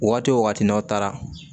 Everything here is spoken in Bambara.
Waati wo waati n'aw taara